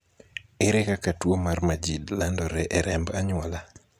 ere kaka tuo mar majid landore e remb anyuola?